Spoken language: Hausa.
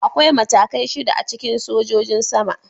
Akwai matakai shida a cikin sojojin sama.